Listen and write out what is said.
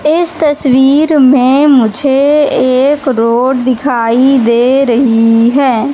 इस तस्वीर में मुझे एक रोड दिखाई दे रही है।